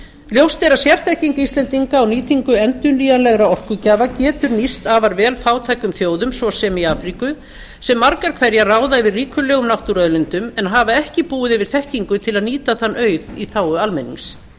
ljóst er að sérþekking íslendinga á nýtingu endurnýjanlegra orkugjafa getur nýst afar vel fátækum þjóðum svo sem í afríku sem margar hverjar ráða yfir ríkulegum náttúruauðlindum en hafa ekki búið yfir þekkingu til að nýta þann auð í þágu almennings